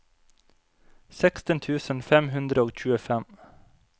seksten tusen fem hundre og tjuefem